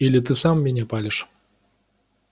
или ты сам меня палишь